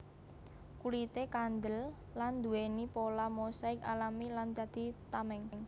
Kulité kandel lan nduwèni pola mosaik alami lan dadi tameng